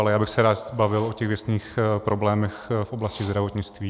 Ale já bych se rád bavil o těch věcných problémech v oblasti zdravotnictví.